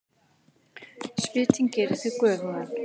Svitinn gerir þig göfugan.